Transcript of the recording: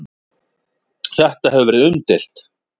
Þetta hefur verið umdeilt.